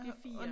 Det 4